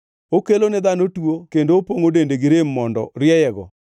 “Okelone dhano tuo kendo opongʼo dende gi rem mondo rieyego.